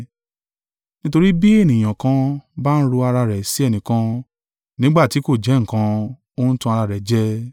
Nítorí bí ènìyàn kan bá ń ro ara rẹ̀ sí ẹnìkan, nígbà tí kò jẹ́ nǹkan, ó ń tan ara rẹ̀ jẹ.